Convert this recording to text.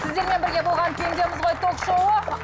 сіздермен бірге болған пендеміз ғой ток шоуы